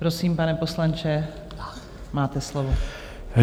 Prosím, pane poslanče, máte slovo.